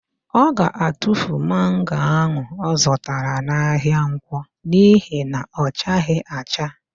Ọ ga-atufu mango ahụ ọ zụtara n'ahịa Nkwọ n'ihi na ọ chaghị acha.